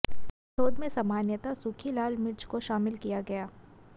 शोध में सामान्यतः सूखी लाल मिर्च को शामिल किया गया